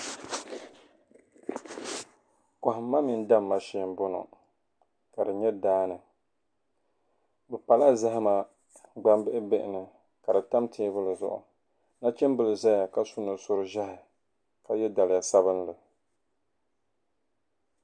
kɔhimma mini damma shee m-bɔŋɔ ka di nyɛ daa ni bɛ pala zahima gbambil' bihi ni ka di tam teebuli zuɣu nachimbila zaya ka su nusur' ʒɛhi ka ye daliya sabilinli